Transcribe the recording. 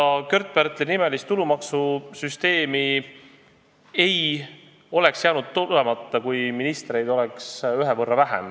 See Kört-Pärtli nime kandev tulumaksusüsteem ei oleks jäänud tulemata, kui ministreid oleks ühe võrra vähem.